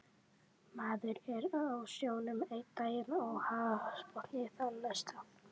Maður er á sjónum einn daginn og hafsbotni þann næsta